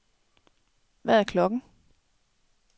Hvad er klokken